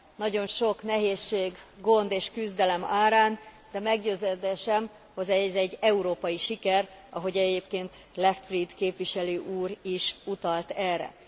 Nagyon sok nehézség, gond és küzdelem árán, de meggyőződésem, hogy ez egy európai siker, ahogy egyébként Leichtfried képviselő úr is utalt erre.